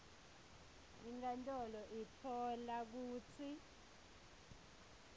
inkantolo itfola kutsi